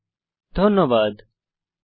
এই টিউটোরিয়ালে অংশগ্রহন করার জন্য ধন্যবাদ